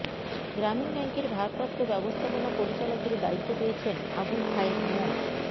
গ্রামীণ ব্যাংকের ভারপ্রাপ্ত ব্যবস্থাপনা পরিচালকের দায়িত্ব পেয়েছেন আবুল খায়ের মো